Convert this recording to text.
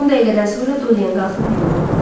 10 dəqiqədən sonra Doryan qalxıb yuyundu.